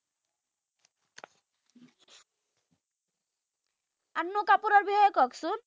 এৰ কওকচোন।